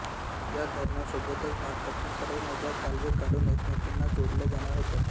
या धरणासोबतच भारतातील सर्व नद्या कालवे काढून एकमेकींना जोडल्या जाणार होत्या